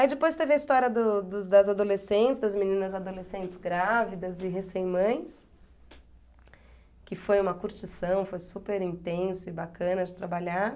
Aí depois teve a história do dos boys adolescentes, das meninas adolescentes grávidas e recém mães, que foi uma curtição, foi super intenso e bacana de trabalhar.